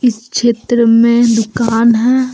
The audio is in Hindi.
इस चित्र में दुकान है।